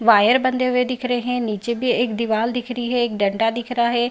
Wire बंधे हुए दिख रहें हैं नीचे भी एक दीवाल दिख रही है एक डांट दिख रहा है।